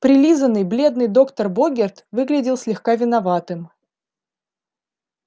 прилизаный бледный доктор богерт выглядел слегка виноватым